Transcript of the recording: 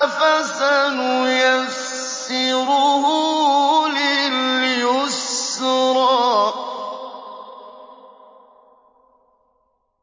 فَسَنُيَسِّرُهُ لِلْيُسْرَىٰ